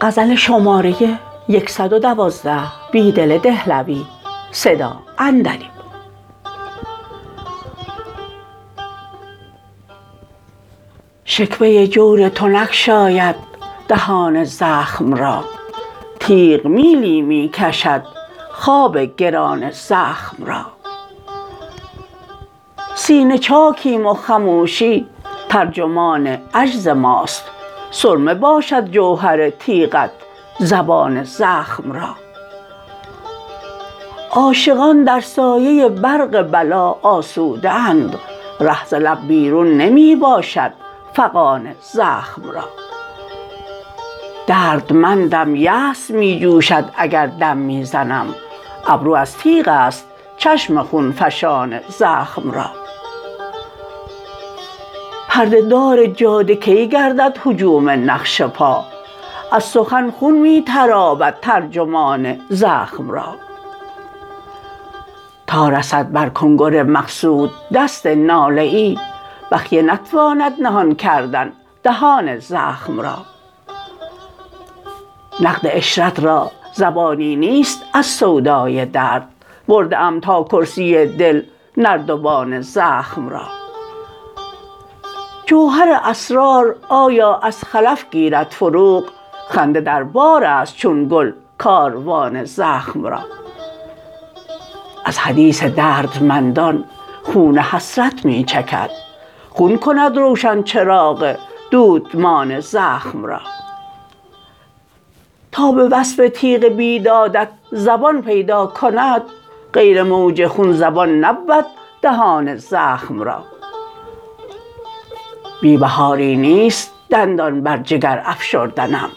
شکوه جور تو نگشاید دهان زخم را تیغ میلی می کشد خواب گران زخم را سینه چاکیم وخموشی ترجمان عجزماست سرمه باشد جوهر تیغت زبان زخم را عاشقان در سایه برق بلا آسوده اند ره ز لب بیرون نمی باشد فغان زخم را دردمندم یأس می جوشد اگر دم می زنم ابرو از تیغ است چشم خونفشان زخم را پرده دار جاده کی گردد هجوم نقش پا از سخن خون می تراود ترجمان زخم را تا رسد برکنگر مقصود دست ناله ای بخیه نتواند نهان کردن دهان زخم را نقد عشرت را زبانی نیست از سودای درد برده ام تا کرسی دل نردبان زخم را جوهر اسرار آیا از خلف گیرد فروغ خنده در بار است چون گل کاروان زخم را از حدیث دردمندان خون حسرت می چکد خون کند روشن چراغ دودمان زخم را تا به وصف تیغ بیدادت زبان پیدکند غیر موج خون زبان نبود دهان زخم را بی بهاری نیست دندان بر جگر افشردنم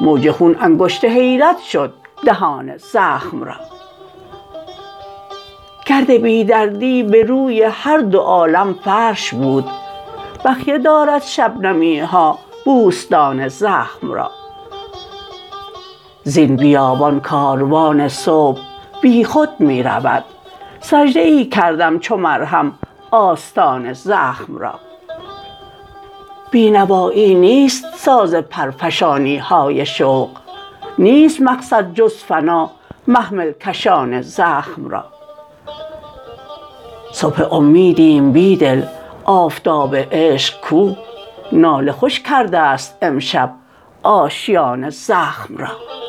موج خون انگشت حیرت شد دهان زخم را گرد بی دردی به روی هر دو عالم فرش بود بخیه دارد شبنمیها بوستان زخم را زین بیابان کاروان صبح بیخود می رود سجده ای کردم چو مرهم آستان زخم را بینوایی نیست ساز پرفشانیهای شوق نیست مقصد جزفنا محمل کشان زخم را صبح امیدیم بیدل آفتاب عشق کو ناله خوش کرده ست امشب آشیان زخم را